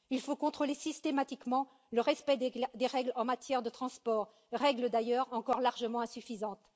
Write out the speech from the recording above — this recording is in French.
Il faut contrôler systématiquement le respect des règles en matière de transport, règles d'ailleurs encore largement insuffisantes.